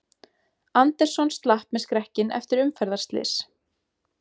Anderson slapp með skrekkinn eftir umferðarslys